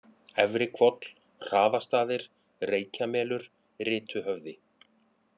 Efri-Hvoll, Hraðastaðir, Reykjamelur, Rituhöfði